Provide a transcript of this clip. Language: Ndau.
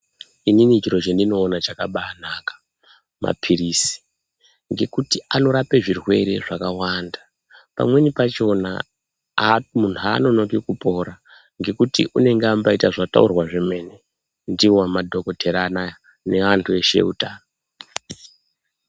Inin chiro chendinoona chakabanaka mapirizi ngekuti anorape zvirwere zvakawanda pamweni pakona muntu anonoki kupora ngekuti unenge ambaita zvataurwa zvemene ndiwo madhokodheya neantu eutano.